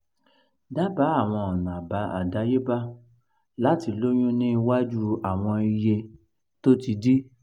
daba awọn ọna adayeba lati loyun ni iwaju awọn iye to ti di